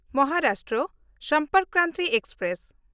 Maharashtra Sampark Kranti express